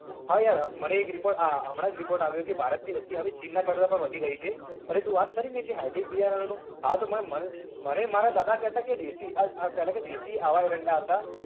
હા યાર મને એક report આ હમણાં report આવ્યો કે ભારતની વસ્તી હવે ચીનના કરતા વધુ પણ વધી ગઈ છે અને તું વાત કરીને જે hybrid બિયારણો હા તો મનેય મારા દાદા કેતા કે દેશી આ આ પેલા કે દેશી આવા એરંડા આવતા